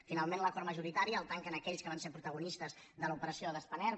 finalment l’acord majoritari el tanquen aquells que van ser protagonistes de l’operació de spanair